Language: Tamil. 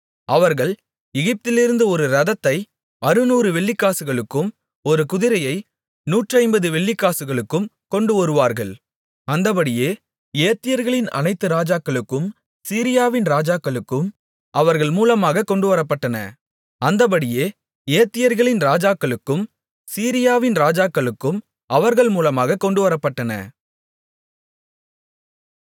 அவர்கள் எகிப்திலிருந்து ஒரு இரதத்தை அறுநூறு வெள்ளிக்காசுகளுக்கும் ஒரு குதிரையை நூற்றைம்பது வெள்ளிக்காசுகளுக்கும் கொண்டுவருவார்கள் அந்தப்படியே ஏத்தியர்களின் அனைத்து ராஜாக்களுக்கும் சீரியாவின் ராஜாக்களுக்கும் அவர்கள் மூலமாகக் கொண்டுவரப்பட்டன